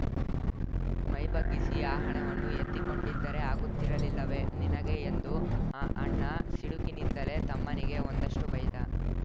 ಮೈಬಗ್ಗಿಸಿ ಆ ಹಣವನ್ನು ಎತ್ತಿಕೊಂಡಿದ್ದರೆ ಆಗುತ್ತಿರಲಿಲ್ಲವೆ ನಿನಗೆ ಎಂದು ಅಣ್ಣ ಸಿಡುಕಿನಿಂದಲೇ ತಮ್ಮನಿಗೆ ಒಂದಷ್ಟುಬೈದ